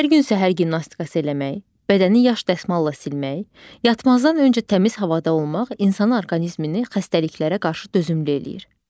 Hər gün səhər gimnastikası eləmək, bədəni yaş dəsmalla silmək, yatmazdan öncə təmiz havada olmaq insanın orqanizmini xəstəliklərə qarşı dözümlü eləyir.